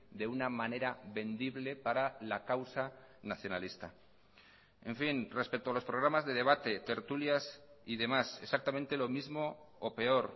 de una manera vendible para la causa nacionalista en fin respecto a los programas de debate tertulias y demás exactamente lo mismo o peor